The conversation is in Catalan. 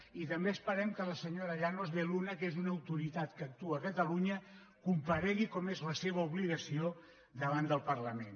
i també esperem que la senyora llanos de luna que és una autoritat que actua a catalunya comparegui com és la seva obligació davant del parlament